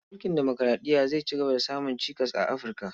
Mulkin demokuraɗiya zai cigaba da samun cikas a Afi, rka.